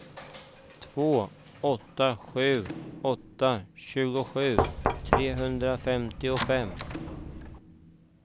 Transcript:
två åtta sju åtta tjugosju trehundrafemtiofem